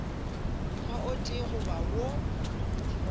mokgwa o tee goba wo